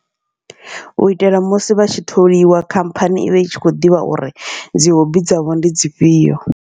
Uitela musi vha tshi tholiwa khamphani ivha i tshi kho ḓivha uri dzi hobby dzavho ndi dzifhio.